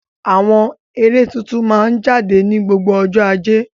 Àwọn eré tuntun máa ń jáde ní gbogbo ọjọ́ Ajé.